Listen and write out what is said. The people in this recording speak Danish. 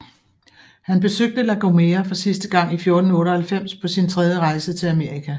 Han besøgte La Gomera for sidste gang i 1498 på sin tredje rejse til Amerika